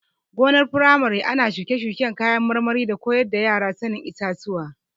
Gonar firamare ana shuke-shuken kayan marmari da koyar da yara sanin itatuwa.